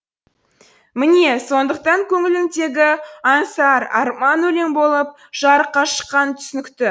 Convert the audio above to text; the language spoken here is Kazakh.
міне сондықтан көңіліндегі аңсар арман өлең болып жарыққа шыққаны түсінікті